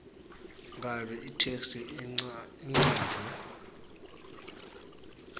kabi itheksthi icanjwe